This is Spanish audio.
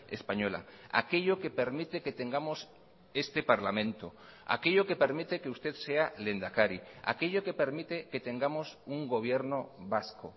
española aquello que permite que tengamos este parlamento aquello que permite que usted sea lehendakari aquello que permite que tengamos un gobierno vasco